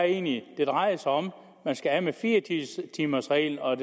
egentlig at det drejer sig om at man skal af med fire timers reglen og